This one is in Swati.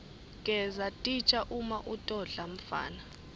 gesa titja uma utodla mfana